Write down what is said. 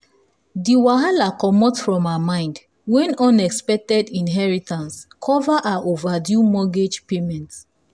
the wahala comot from her mind when unexpected inheritance cover her overdue mortgage payments.